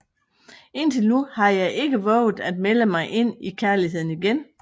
Indtil nu har jeg ikke vovet at melde mig ind i kærligheden igen